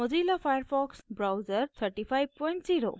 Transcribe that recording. mozilla firefox browser 350